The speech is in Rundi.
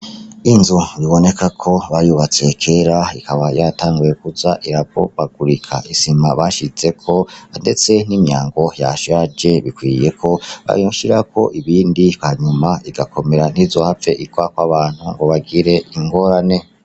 Inzu bibonekako bayubatse kera ikaba yaratanguye kuza iravungagurika isima bashizeko ndetse n’imyango yashaje ikwiye ko bashirako ibindi hanyuma igakomera ntizohave igwako abantu ngo bagire ingorane.